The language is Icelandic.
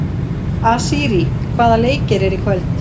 Asírí, hvaða leikir eru í kvöld?